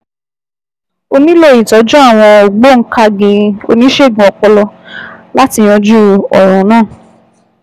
Ó nílò ìtọ́jú àwọn ògbóǹkangí oníṣègùn ọpọlọ láti yanjú ọ̀ràn náà